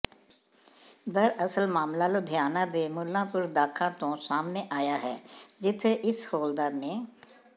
ਦਰਅਸਲ ਮਾਮਲਾ ਲੁਧਿਆਣਾ ਦੇ ਮੁੱਲਾਂਪੁਰ ਦਾਖਾ ਤੋਂ ਸਾਹਮਣੇ ਆਇਆ ਹੈ ਜਿੱਥੇ ਇਸ ਹੌਲਦਾਰ ਨੇ